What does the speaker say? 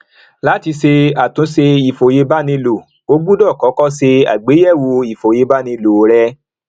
láti ṣe àtúnṣe ìfòyebánilò o gbọdọ kọkọ ṣe àgbéyèwò iye ìfòyebánilò rẹ